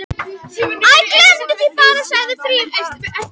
Æ, gleymdu því bara- sagði Drífa.